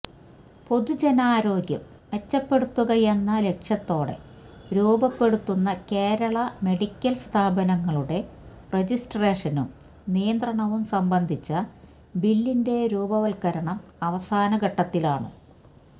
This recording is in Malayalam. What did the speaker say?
പൊതുജനാരോഗ്യം മെച്ചപ്പെടുത്തുകയെന്ന ലക്ഷ്യത്തോടെ രൂപപ്പെടുത്തുന്ന കേരള മെഡിക്കല് സ്ഥാപനങ്ങളുടെ രജിസ്ട്രേഷനും നിയന്ത്രണവും സംബന്ധിച്ച ബില്ലിന്റെ രൂപവത്കരണം അവസാന ഘട്ടത്തിലാണ്